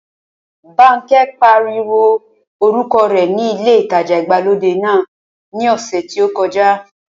Bánkẹ́ pariwo orúkọ rẹ ní ilé ìtajà ìgbàlódé náà ní ọ̀sẹ̀ tí ó kọjá